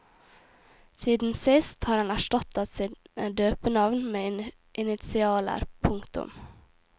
Siden sist har han erstattet sine døpenavn med initialer. punktum